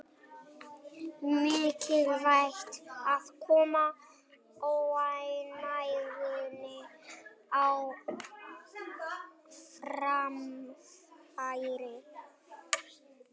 Mikilvægt að koma óánægjunni á framfæri